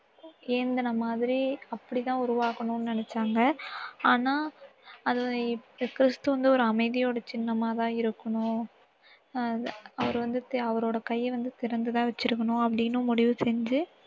ஏந்துன மாதிரி அப்படி தான் உருவாக்கணும்னு நினைச்சாங்க. ஆனா, அது கிறிஸ்து வந்து ஒரு அமைதியோட சின்னமா தான் இருக்கணும். அவரு வந்து, அவரோட கையை வந்து, திறந்து தான் வச்சு இருக்கணும் அப்படின்னு முடிவு செஞ்சு